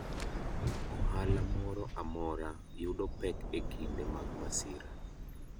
Ohala moro amora yudo pek e kinde mag masira.